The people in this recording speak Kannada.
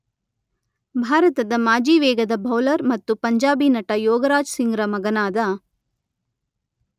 ಭಾರತದ ಮಾಜಿ ವೇಗದ ಬೌಲರ್ ಮತ್ತು ಪಂಜಾಬಿ ನಟ ಯೋಗರಾಜ್ ಸಿಂಗ್‌ರ ಮಗನಾದ.